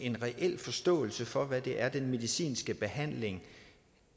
en reel forståelse for hvad det er den medicinske behandling